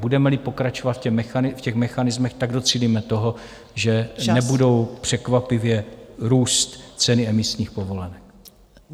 Budeme-li pokračovat v těch mechanismech, docílíme toho, že nebudou překvapivě růst ceny emisních povolenek.